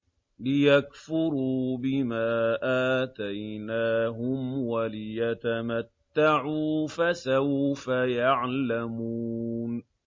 لِيَكْفُرُوا بِمَا آتَيْنَاهُمْ وَلِيَتَمَتَّعُوا ۖ فَسَوْفَ يَعْلَمُونَ